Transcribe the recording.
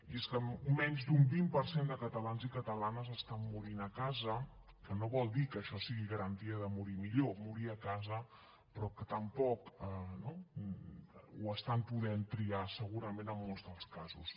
i és que menys d’un vint per cent de catalans i catalanes estan morint a casa que no vol dir que això sigui garantia de morir millor morir a casa però que tampoc no ho estan podent triar segurament en molts dels casos